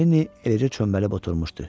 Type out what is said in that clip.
Lenni eləcə çöməlib oturmuşdu.